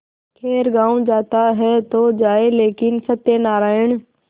खैर गॉँव जाता है तो जाए लेकिन सत्यनारायण